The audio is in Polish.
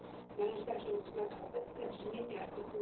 Należy także utrzymać obecne brzmienie art.